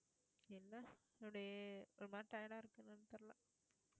என்ன today ஒரு மாதிரி tired இருக்கு என்னென்னு தெரியலை